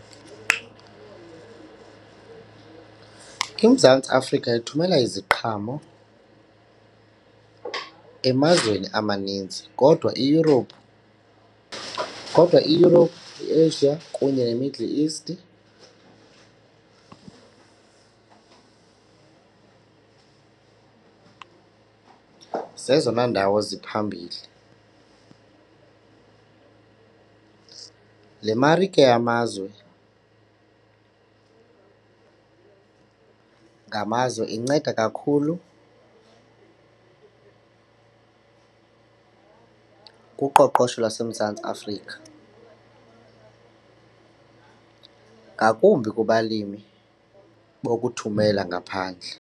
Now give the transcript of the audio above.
IMzantsi Afrika ithumela iziqhamo emazweni amaninzi kodwa iEurope, kodwa iEurope, iAsia kunye neMiddle East zezona ndawo ziphambili. Le marike yamazwe ngamazwe inceda kakhulu kuqoqosho lwaseMzantsi Afrika ngakumbi kubalimi bokuthumela ngaphandle.